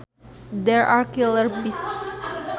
There are killer bees